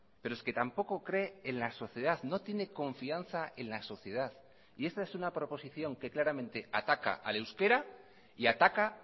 pero es que tampoco cree en la sociedad no tiene confianza en la sociedad y esta es una proposición que claramente ataca al euskera y ataca